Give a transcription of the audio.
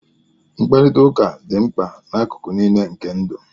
Mkparịta ụka dị mkpa n'akụkụ niile nke ndụ